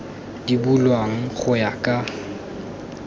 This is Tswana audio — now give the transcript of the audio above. di bulwang go ya ka